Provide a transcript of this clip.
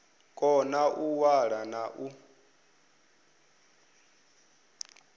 kona u ṅwala na u